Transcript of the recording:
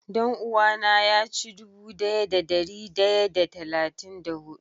Dan-uwa na ya ci dubu daya da dari daya da talatin da hudu.